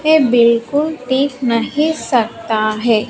ये बिल्कुल टीक नहीं सकता है।